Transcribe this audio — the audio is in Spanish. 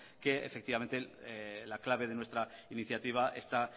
que efectivamente la clave de nuestra iniciativa está